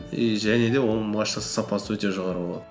и және де оның машинасының сапасы өте жоғары болады